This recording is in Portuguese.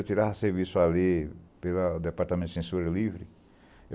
Eu tirava serviço ali pelo Departamento de Censura Livre.